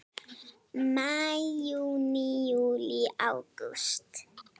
Maí Júní Júlí Ágúst